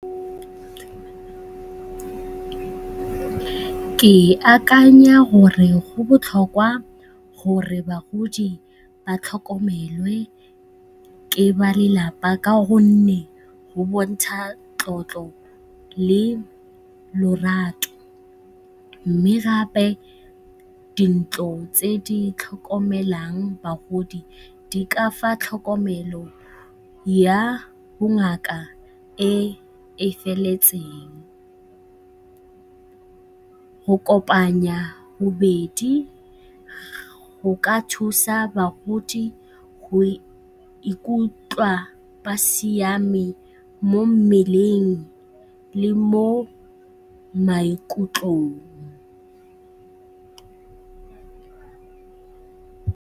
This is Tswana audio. Ke akanya gore go botlhokwa gore bagodi ba tlhokomelwe ke ba lelapa ka gonne go bontsha tlotlo le lorato, mme gape dintlo tse di tlhokomelang bagodi di ka fa tlhokomelo ya bongaka e e feletseng. Go kopanya bobedi go ka thusa bagodi go ikutlwa ba siame mo mmeleng le mo maikutlong.